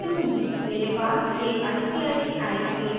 मेरे पास एक icici atm card है